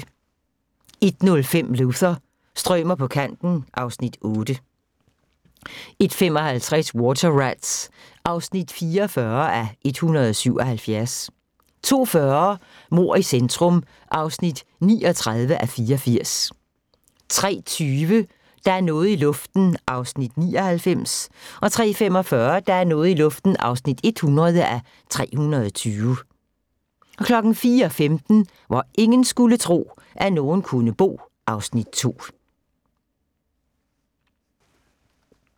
01:05: Luther – strømer på kanten (Afs. 8) 01:55: Water Rats (41:177) 02:40: Mord i centrum (39:84) 03:20: Der er noget i luften (99:320) 03:45: Der er noget i luften (100:320) 04:15: Hvor ingen skulle tro, at nogen kunne bo (Afs. 2)